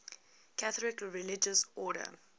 catholic religious order